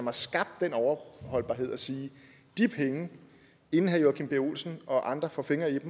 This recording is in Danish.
har skabt den overholdbarhed at sige inden herre joachim b olsen og andre får fingre i de